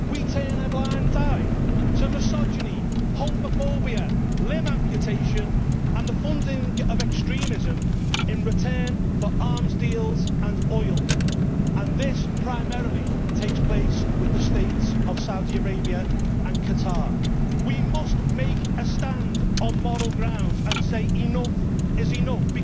We turn a blind eye to misogyny, homophobia, limb amputation, and the funding of extremism in return for arms deals and oil, and this primarily takes place with the States of Saudi Arabia and Qatar. We must make a stand on moral grounds and say enough is enough.